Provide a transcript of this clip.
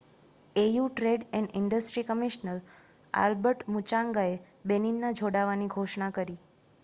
au trade and industry commissioner Albert મુચૉંગાએ બેનિનના જોડાવાની ઘોષણા કરી